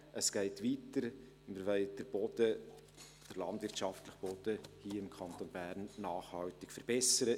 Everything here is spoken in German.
Es geht weiter, wir wollen den landwirtschaftlichen Boden hier im Kanton nachhaltig verbessern.